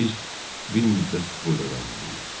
Biz bir müddət burada qalmalıyıq.